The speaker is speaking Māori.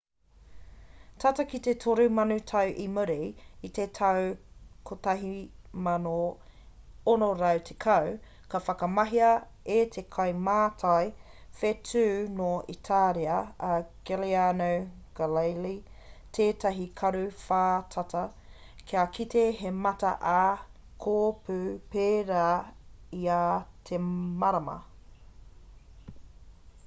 tata ki te toru mano tau i muri i te tau 1610 i whakamahia e te kaimātai whetū nō itāria a galileo galilei tētahi karu whātata kia kite he mata ā kōpū pērā i ā te marama